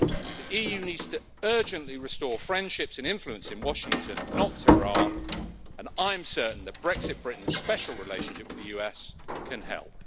The EU needs to urgently restore friendships and influence in Washington, not Tehran, and I'm certain that Brexit Britain's special relationship with the US can help.